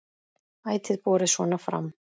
Ætíð borið svona fram.